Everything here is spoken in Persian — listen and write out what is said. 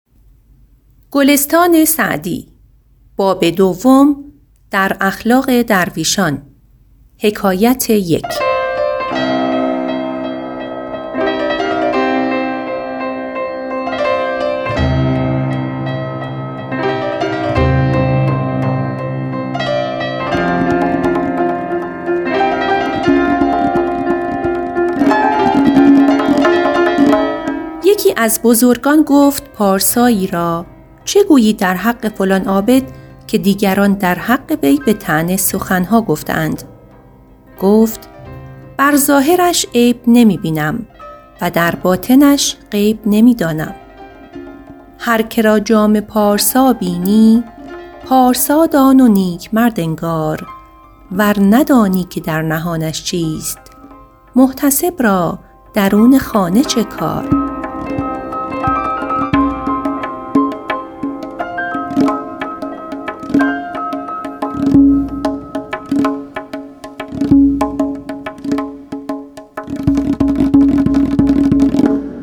یکی از بزرگان گفت پارسایی را چه گویی در حق فلان عابد که دیگران در حق وی به طعنه سخن ها گفته اند گفت بر ظاهرش عیب نمی بینم و در باطنش غیب نمی دانم هر که را جامه پارسا بینی پارسا دان و نیک مرد انگار ور ندانی که در نهانش چیست محتسب را درون خانه چه کار